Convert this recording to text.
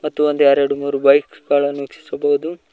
ಮತ್ತು ಒಂದು ಎರಡು ಮೂರು ಬೈಕ್ಸ್ ಗಳನ್ನು ವೀಕ್ಷಿಸಬಹುದು.